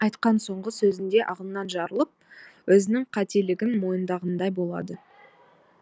айтқан соңғы сөзінде ағынан жарылып өзінің қателігін мойындағандай болады